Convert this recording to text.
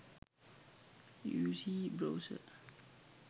uc browser